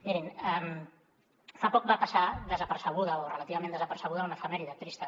mirin fa poc va passar desapercebuda o relativament desapercebuda una efemèride trista